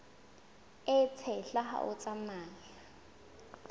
e tshehla ha o tsamaya